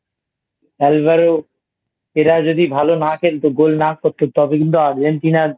Alvaro এরা যদি ভালো না খেলতো Goal না করতো তবে কিন্তু Argentina র